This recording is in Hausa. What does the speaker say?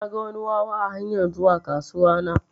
Naga wani wawa a hanyar zuwa kasuwa na.